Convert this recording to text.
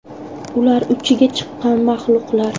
Ular uchiga chiqqan mahluqlar!